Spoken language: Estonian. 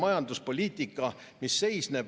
Kas see ei ole ülekohtune?